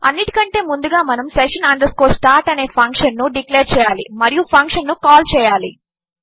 అన్నిటికంటే ముందుగా మనము session start అనే ఫంక్షన్ ను డిక్లేర్ చేయాలి మరియు ఫంక్షన్ ను కాల్ చేయాలి